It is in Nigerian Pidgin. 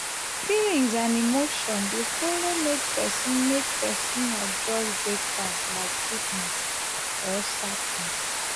feelings and emotions dey follow make pesin make pesin adjust breakfast like sickness or sadness.